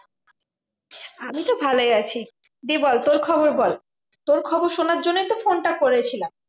আমি তো ভালোই আছি। দিয়ে বল তোর খবর বল? তোর খবর সোনার জন্যই তো ফোনটা করেছিলাম।